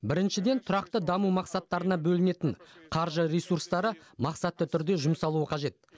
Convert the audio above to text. біріншіден тұрақты даму мақсаттарына бөлінетін қаржы ресурстары мақсатты түрде жұмсалуы қажет